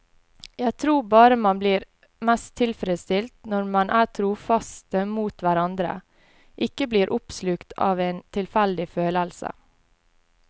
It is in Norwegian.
Jeg tror bare man blir mest tilfreds når man er trofaste mot hverandre, ikke blir oppslukt av en tilfeldig følelse.